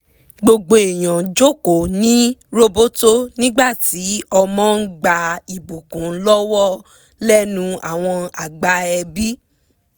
gbogbo èèyàn jókòó ní roboto nígbà tí ọmọ ń gba ìbùkún lọ́wọ́ lẹ́nu àwọn àgbà ẹbí